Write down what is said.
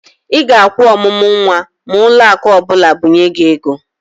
Ị ga-akwụ ọmụmụ nwa ma ụlọakụ ọbụla binye gị ego.